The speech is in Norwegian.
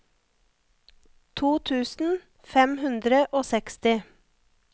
to tusen fem hundre og seksti